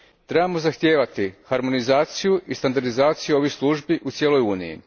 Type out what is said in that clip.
Trebamo zahtijevati harmonizaciju i standardizaciju ovih Službi u cijeloj Uniji.